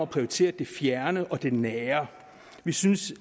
prioritere det fjerne og det nære vi synes